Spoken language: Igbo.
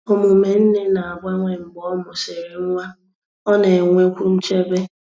Omume nne na-agbanwe mgbe ọ mụsịrị nwa—ọ na-enwekwu nchebe.